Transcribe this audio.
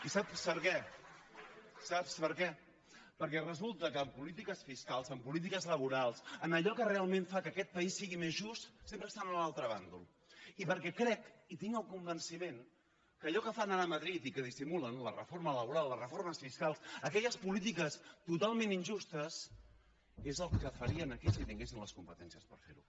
i saps per què saps per què perquè resulta que en polítiques fiscals en polítiques laborals en allò que realment fa que aquest país sigui més just sempre estan a l’altre bàndol i perquè crec i en tinc el convenciment que allò que fan ara a madrid i que dissimulen la reforma laboral la reforma fiscal aquelles polítiques totalment injustes és el que farien aquí si tinguessin les competències per ferho